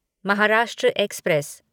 Maharashtra express